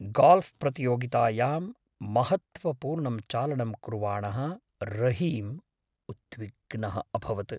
Golf प्रतियोगितायां महत्त्वपूर्णं चालनं कुर्वाणः रहीम् उद्विग्नः अभवत्।